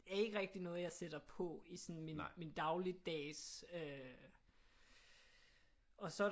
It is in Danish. Er ikke rigtig noget jeg sætter på i sådan min min dagligdags og så er der